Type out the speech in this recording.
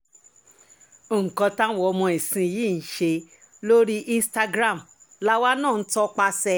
nǹkan táwọn ọmọ ìsinyìí ń ṣe lórí instagram làwa náà ń tọpasẹ̀ ẹ̀